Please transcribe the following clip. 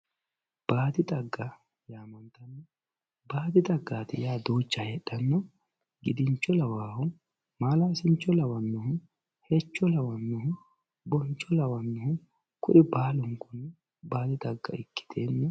baadi xagga yaamantanno baadi xaggaati yaa duucha heedhanna gidincho lawannohu maalaasincho lawannohu hecho lawannohu goddiicho lawannohu kuri baalunkunni baadi xagga ikkiteenna.